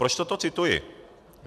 Proč toto cituji?